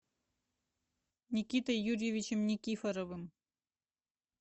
никитой юрьевичем никифоровым